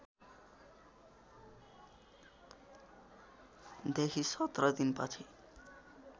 देखि १७ दिनपछि